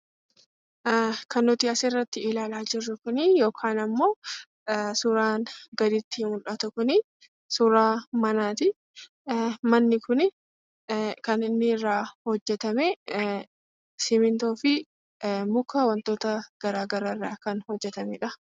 Kan nuti asirratti ilaalaa jirru kuni yookaan ammoo suuraan gaditti mul'atu kuni suuraa manaati. Manni kun kan inni irraa hojjetame simintoofi muka wantoota gara garaa irraa kan hojjetamedha.